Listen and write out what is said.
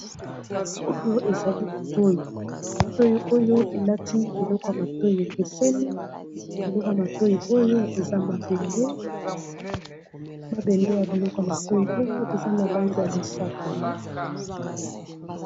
Oyo ezali litoi litoi oyo endaki biloko ya matoi ekeseni, biloko ya matoi oyo eza mabende mabende ya biloko ya matoi oyo eza na langi ya mosaka.